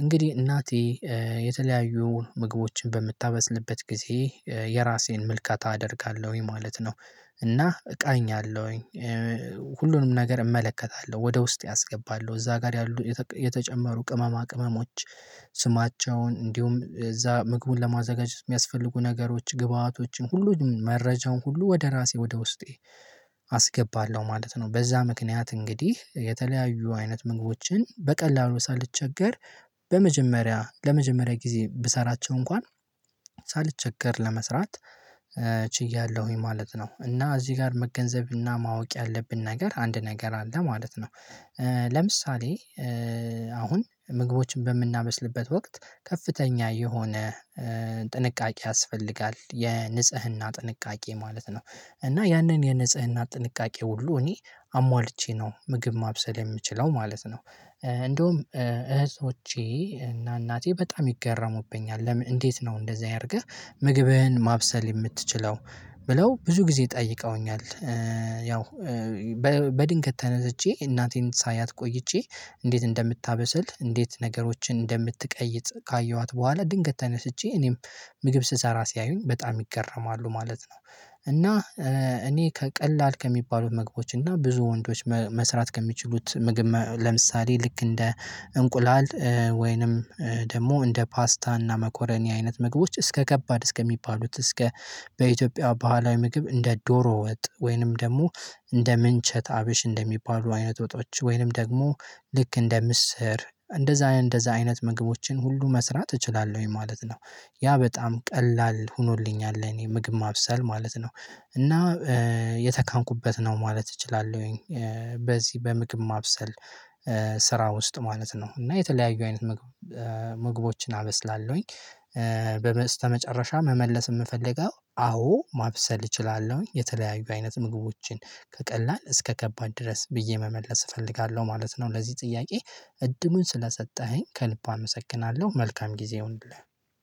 እንግዲህ እናቴ የተለያዩ ምግቦችን በምታመስልበት ጊዜ የራሴን ምልከታ አደርጋለሁኝ ማለት ነው። እና እቃኛለሁኝ ሁሉንም ነገር እመለከታለሁ ወደ ውስጤ አስገባለሁ እዛ ጋር ያሉ የተጨመሩ ቅመማ ቅመሞች ስማቸውን እንዲሁም እዛ ምግቡን ለማዘጋጀት የሚያስፈልጉ ነገሮች ግብአቶችን ሁሉ መረጃውን ሁሉ ወደ ራሴ ወደ ውስጤ አስገባለሁ ማለት ነው። በዛ ምክንያት እንግዲህ የተለያዩ አይነት ምግቦችን በቀላሉ ሳልቸገር በመጀመሪያ ለመጀመሪያ ጊዜ ብሰራቸው እንኳን ሳልቸገር ለመስራት ችያለሁኝ ማለት ነው። እና እዚህ ጋር መገንዘብና ማወቅ ያለብን ነገር አንድ ነገር አለ ማለት ነው። ለምሳሌ አሁን ምግቦችን በምናመስልበት ወቅት ከፍተኛ የሆነ ጥንቃቄ ያስፈልጋል የንጽህና ጥንቃቄ ማለት ነው። እና ያንን የንጽህና ጥንቃቄ ሁሉ እኔ አሟልቼ ነው ምግብ ማብሰል የምችለው ማለት ነው። እንደውም እህቶቼ እና እናቴ በጣም ይገረሙብኛል ለምን እንዴት ነው እንደዚህ አያርገህ? ምግብህን ማብሰል የምትችለው ብለው ብዙ ጊዜ ጠይቀውኛል። ያው በድንገት ተነስቼ እናቴን ሳያት ቆይቼ እንዴት እንደምታበስል እንዴት ነገሮችን እንደምትቀይጥ ካየኋት በኋላ ድንገት ተነስቼ እኔም ምግብ ስሰራ ሲያዩኝ በጣም ይገረማሉ ማለት ነው። እና እኔ ከቀላል ከሚባሉት ምግቦች እና ብዙ ወንዶች መስራት ከሚችሉት ምግብ ለምሳሌ ልክ እንደ እንቁላል ወይንም ደግሞ እንደ ፓስታ እና መኮረኒ አይነት ምግቦች እስከ ከባድ እስከሚባሉት እስከ በኢትዮጵያ ባህላዊ ምግብ እንደ ዶሮ ወጥ ወይንም ደግሞ እንደ ምንቸት አብሽ እንደሚባሉ አይነት ወጦች ወይንም ደግሞ ልክ እንደ ምስር እንደዛ እንደዛ አይነት ምግቦችን ሁሉ መስራት እችላለሁኝ ማለት ነው። ያ በጣም ቀላል ሆኖልኛል ለእኔ ምግብ ማብሰል ማለት ነው። እና የተካንኩበት ነው ማለት እችላለሁኝ። በዚህ በምግብ ማብሰል ስራ ውስጥ ማለት ነው እና የተለያዩ አይነት ምግቦችን አመስላለሁኝ። በስተመጨረሻ መመለስ የምፈልገው አዎ ማብሰል እችላለሁኝ የተለያዩ አይነት ምግቦችን ከቀላል እስከ ከባድ ድረስ ብዬ መመለስ እፈልጋለሁ ማለት ነው። ለዚህ ጥያቄ እድሉን ስለሰጠኸኝ ከልቡ አመሰግናለሁ። መልካም ጊዜ ይሁንልህ።